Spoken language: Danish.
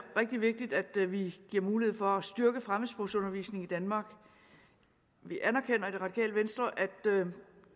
rigtig vigtigt at vi giver mulighed for at styrke fremmedsprogsundervisningen i danmark vi anerkender i det radikale venstre at